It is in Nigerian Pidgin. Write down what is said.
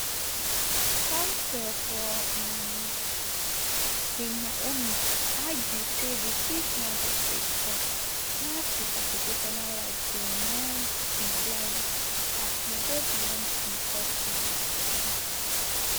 counsel for um queen naomi argue say di chief magistrate court lack di constitutional right to remand im client as e go beyond di court jurisdiction